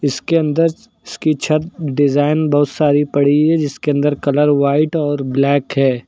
इसके अंदर इसकी छत डिजाइन बहुत सारी पड़ी है जिसके अंदर कलर व्हाइट और ब्लैक है।